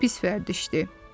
Çox pis vərdişdir.